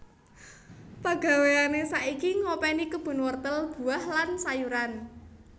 Pagawéane saiki ngopeni kebun wortel buah lan sayuran